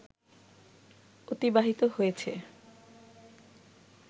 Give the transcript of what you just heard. অতিবাহিত হয়েছে